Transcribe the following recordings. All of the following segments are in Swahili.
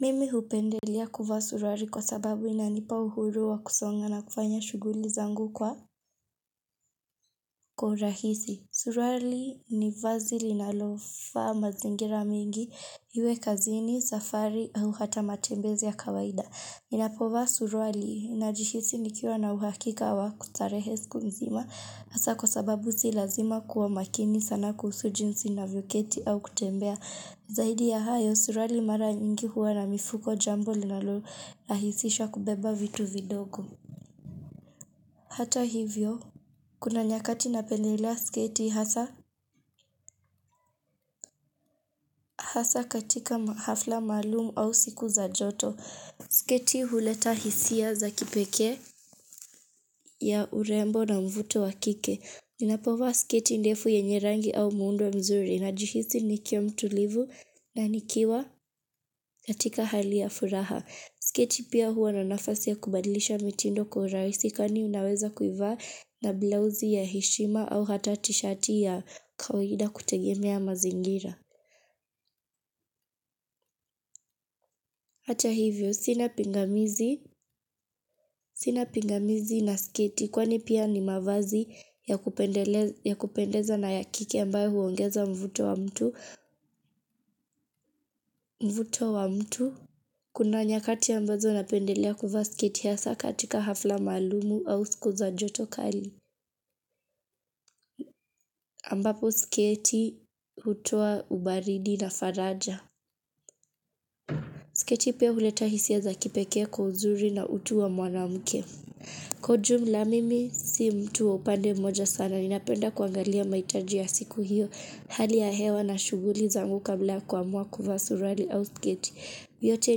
Mimi hupendelea kuvaa suruali kwa sababu inanipa uhuru wa kusonga na kufanya shughuli zangu kwa urahisi. Suruali ni vazi linalofaa mazingira mingi, iwe kazini, safari, au hata matembezi ya kawaida. Ninapovaa suruali najihisi nikiwa na uhakika wa kustarehe siku nzima hasa kwa sababu si lazima kuwa makini sana kuhusu jinsi ninavyoketi au kutembea. Zaidi ya hayo suruali mara nyingi huwa na mifuko jambo linalo lahisisha kubeba vitu vidogo. Hata hivyo, kuna nyakati napendelea sketi hasa hasa katika hafla maalum au siku za joto. Sketi huletea hisia za kipekee ya urembo na uvuto wa kike ninapovaa sketi ndefu yenye rangi au muundo mzuri najihisi nikiwa mtulivu na nikiwa katika hali ya furaha sketi pia huwa na nafasi ya kubadilisha mitindo kwa urahisi kwani unaweza kuivaa na blauzi ya heshima au hata teshati ya kawaida kutegemea mazingira hata hivyo sina pingamizi sina pingamizi na sketi kwani pia ni mavazi ya kupendeza na ya kike ambayo huongeza mvuto wa mtu kuna nyakati ambazo napendelea kuvaa sketi hasa katika hafla maalumu au siku za joto kali ambapo sketi hutoa ubaridi na faraja sketi pia huleta hisia za kipekee kwa uzuri na utu wa mwanamke kwa ujumla mimi si mtu wa upande mmoja sana ninapenda kuangalia mahitaji ya siku hiyo Hali ya hewa na shughuli zangu kabla kuamua kuvaa suruali au sketi. Vyote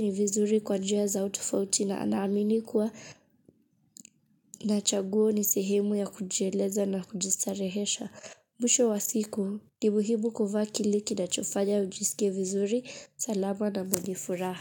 ni vizuri kwa njia zao tofauti na naamini kuwa. Na chaguo ni sehemu ya kujieleza na kujistarehesha. Mwisho wa siku, ni muhimu kuvaa kile kinachofanya ujisike vizuri. Salama na mwenye furaha.